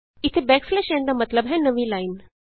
ਇਥੇ n ਦਾ ਮਤਲਬ ਹੈ ਨਵੀਂ ਲਾਈਨ